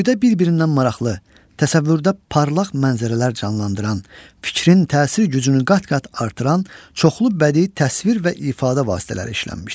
Boydə bir-birindən maraqlı, təsəvvürdə parlaq mənzərələr canlandıran, fikrin təsir gücünü qat-qat artıran çoxlu bədii təsvir və ifadə vasitələri işlənmişdir.